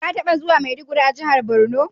Ka taɓa juwa Maiduguri a jihar Borno?